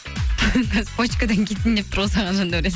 почкадан кетейін деп тұр ғой саған жандәурен